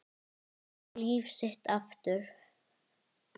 Fá líf sitt aftur.